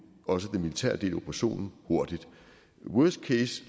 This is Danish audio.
også afslutte den militære del af operationen hurtigt worst case